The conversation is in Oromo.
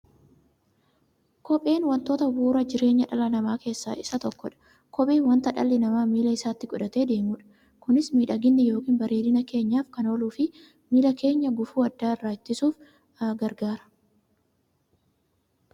Kopheen wantoota bu'uura jireenya dhala namaa keessaa isa tokkodha. Kopheen wanta dhalli namaa miilla isaatti godhatee deemudha. Kunis miidhagani yookiin bareedina keenyaf kan ooluufi miilla keenya gufuu adda addaa irraa ittisuuf gargaara.